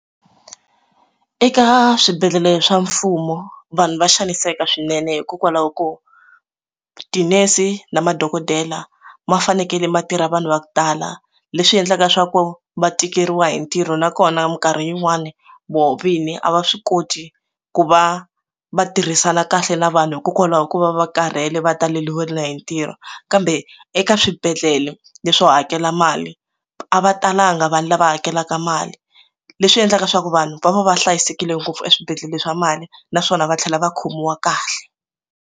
Eka swibedhlele swa mfumo vanhu va xaniseka swinene hikokwalaho ko tinese na madokodela ma fanekele ma tirha vanhu va ku tala leswi endlaka swa ku va tikeriwa hi ntirho nakona minkarhi yin'wani voho vini a va swi koti ku va va tirhisana kahle na vanhu hikokwalaho ku va va karhele va taleriwile hi ntirho kambe eka swibedhlele leswi swo hakela mali a va talanga vanhu lava hakelaka mali leswi endlaka leswaku vanhu va va va hlayisekile ngopfu eswibedhlele swa mali naswona va tlhela va khomiwa kahle.